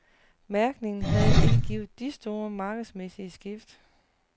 Mærkningen har ikke givet de store markedsmæssige skift.